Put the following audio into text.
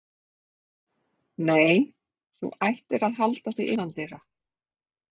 Nei, og þú ættir að halda þig innandyra.